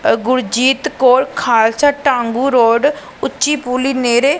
ਗੁਰਜੀਤ ਕੌਰ ਖਾਲਸਾ ਟਾਮਬੂ ਰੋਡ ਉੱਚੀ ਪੁਲੀ ਨੇੜੇ।